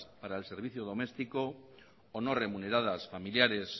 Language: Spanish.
para el servicio doméstico o no remuneradas familiares